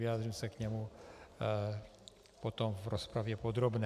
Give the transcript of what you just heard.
Vyjádřím se k němu potom v rozpravě podrobné.